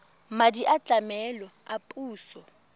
madi a tlamelo a puso